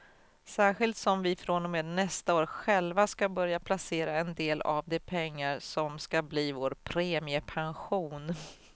Särskilt som vi från och med nästa år själva ska börja placera en del av de pengar som ska bli vår premiepension.